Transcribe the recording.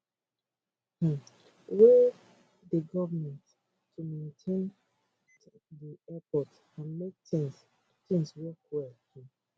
um wey dey goment to maintain di airports and make tins tins work well um